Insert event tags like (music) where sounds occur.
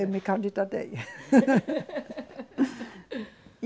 Eu me candidatei. (laughs)